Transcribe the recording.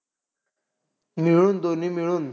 मिळून दोन्ही मिळून?